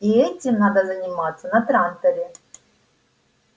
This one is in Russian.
и этим надо заниматься на транторе